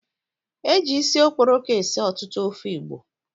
Eji isi okporoko esi ọtụtụ ofe Igbo